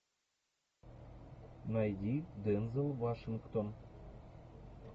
найди дензел вашингтон